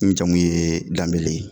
N jamu ye Banbele ye